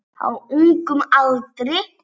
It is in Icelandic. Á ungum aldri.